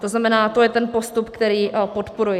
To znamená, to je ten postup, který podporuji.